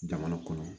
Jamana kɔnɔ